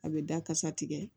A bɛ dakasa tigɛ